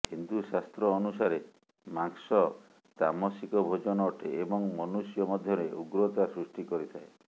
ହିନ୍ଦୁ ଶାସ୍ତ୍ର ଅନୁସାରେ ମାଂସ ତାମସିକ ଭୋଜନ ଅଟେ ଏବଂ ମନୁଷ୍ୟ ମଧ୍ୟରେ ଉଗ୍ରତା ସୃଷ୍ଟି କରିଥାଏ